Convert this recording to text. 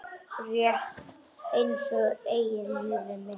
Rétt einsog mitt eigið líf.